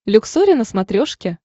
люксори на смотрешке